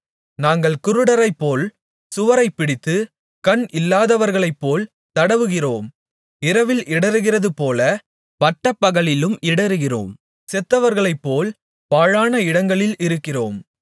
நாங்கள் குருடரைபோல் சுவரைப்பிடித்து கண் இல்லாதவர்களைப்போல் தடவுகிறோம் இரவில் இடறுகிறதுபோலப் பட்டப்பகலிலும் இடறுகிறோம் செத்தவர்களைப்போல் பாழான இடங்களில் இருக்கிறோம்